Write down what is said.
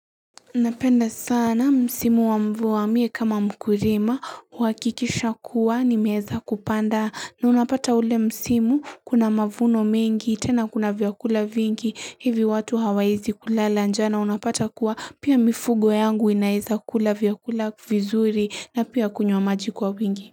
Napenda sana msimu wa mvua mie kama mkulima huakikisha kuwa nimeweza kupanda na unapata ule msimu kuna mavuno mengi tena kuna vyakula vingi hivi watu hawawezi kulala njaa na unapata kuwa pia mifugo yangu inaweza kula vyakula vizuri na pia kunywa maji kwa wingi.